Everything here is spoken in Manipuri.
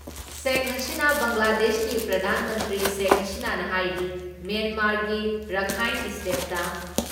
ꯁꯦꯈ ꯍꯥꯁꯤꯅꯥ ꯕꯪꯒ꯭ꯂꯥꯗꯦꯁꯀꯤ ꯄ꯭ꯔꯙꯥꯟ ꯃꯟꯇ꯭ꯔꯤ ꯁꯦꯈ ꯍꯁꯤꯅꯥꯅ ꯍꯥꯏꯔꯤ‑ ꯃ꯭ꯌꯦꯟꯃꯥꯔꯒꯤ ꯔꯥꯈꯥꯏꯟ ꯏꯁꯇꯦꯠꯇ